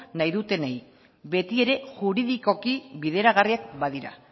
nahi dutenei betiere juridikoki bideragarriak badira